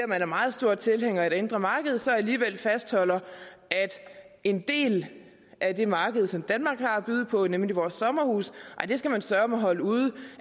man er meget stor tilhænger af det indre marked så alligevel fastholder at en del af det marked som danmark har at byde på nemlig vores sommerhuse skal man søreme holde ude